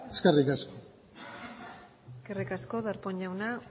eskerrik asko eskerrik asko darpón jauna